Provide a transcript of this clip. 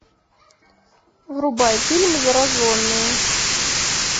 врубай фильм зараженные